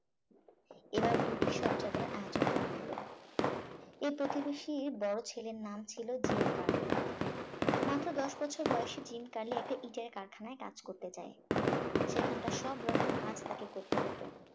এবার দুটি শব যাত্রার আয়োজন করা হল এই প্রতিবেশীর বড় ছেলের নাম ছিল জিম কার্লি মাত্র দশ বছর বয়সে জিম কার্লি একটা ইটের কারখানায় কাজ করতে যায় সেখানকার সব রকম কাজ তাকে করতে হত